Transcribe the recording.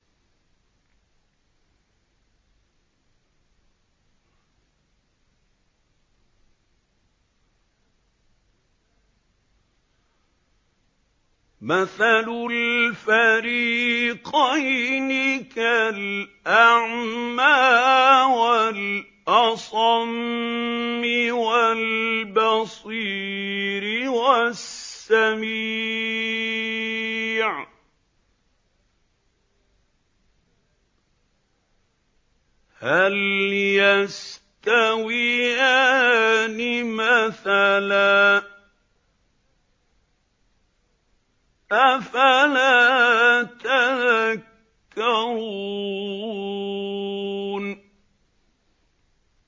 ۞ مَثَلُ الْفَرِيقَيْنِ كَالْأَعْمَىٰ وَالْأَصَمِّ وَالْبَصِيرِ وَالسَّمِيعِ ۚ هَلْ يَسْتَوِيَانِ مَثَلًا ۚ أَفَلَا تَذَكَّرُونَ